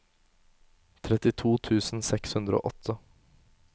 trettito tusen seks hundre og åtte